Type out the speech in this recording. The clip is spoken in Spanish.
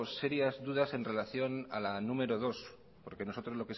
serias dudas en relación a la número dos porque nosotros